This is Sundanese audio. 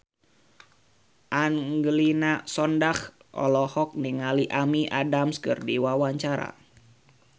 Angelina Sondakh olohok ningali Amy Adams keur diwawancara